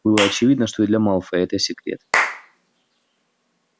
было очевидно что и для малфоя это секрет